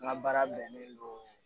N ka baara bɛnnen don